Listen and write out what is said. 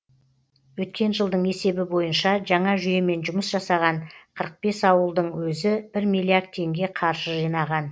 өткен жылдың есебі бойынша жаңа жүйемен жұмыс жасаған қырық бес ауылдың өзі бір миллиард теңге қаржы жинаған